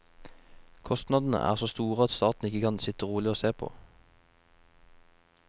Kostnadene er så store at staten ikke kan sitte rolig og se på.